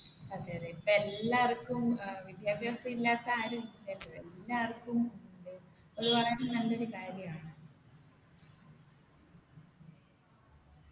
അതെ അതെ ഇപ്പൊ എല്ലാർക്കും ഏർ വിദ്യാഭ്യാസം ഇല്ലാത്ത ആരുല്ലല്ലോ എല്ലാര്‍ക്കും ഉണ്ട് അത് വളരെ നല്ലൊരു കാര്യാണ്